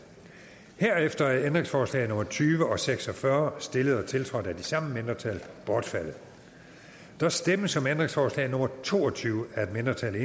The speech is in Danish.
herefter er ændringsforslag nummer tyve og nummer seks og fyrre stillet og tiltrådt af de samme mindretal bortfaldet der stemmes om ændringsforslag nummer to og tyve af et mindretal